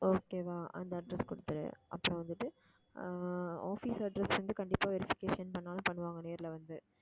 okay வா அந்த address கொடுத்துடு அப்புறம் வந்துட்டு ஆஹ் office address வந்து கண்டிப்பா verification பண்ணாலும் பண்ணுவாங்க நேர்ல வந்து